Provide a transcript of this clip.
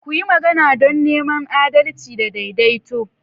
Ku yi magana don neman adalci da daidaito.